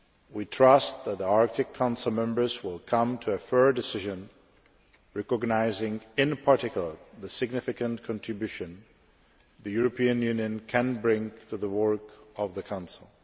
We trust that the Arctic Council members will come to a fair decision, recognising in particular the significant contribution the European Union can bring to the work of the Council.